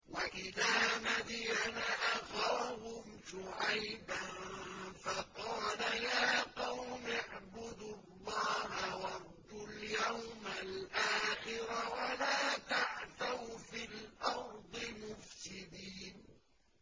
وَإِلَىٰ مَدْيَنَ أَخَاهُمْ شُعَيْبًا فَقَالَ يَا قَوْمِ اعْبُدُوا اللَّهَ وَارْجُوا الْيَوْمَ الْآخِرَ وَلَا تَعْثَوْا فِي الْأَرْضِ مُفْسِدِينَ